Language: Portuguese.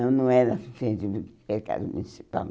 Ela não era muito diferente do Mercado Municipal?